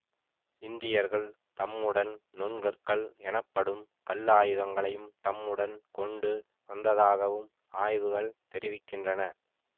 இந்தியர்கள் தம்முடன் நுண் கற்கள் எனப்படும் கல்லாயுதங்களையும் தம்முடன் கொண்டு வந்ததாகவும் ஆய்வுகள் தெரிவிக்கின்றன